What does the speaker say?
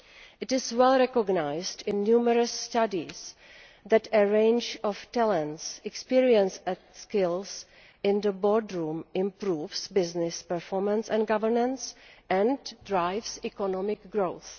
It is well recognised in numerous studies that a range of talents, experience and skills in the boardroom improves business performance and governance and drives economic growth.